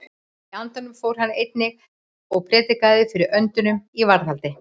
Í andanum fór hann einnig og prédikaði fyrir öndunum í varðhaldi.